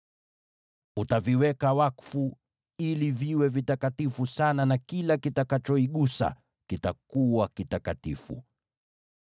Utaviweka wakfu ili viwe vitakatifu sana na kila kitakachoigusa kitakuwa kitakatifu.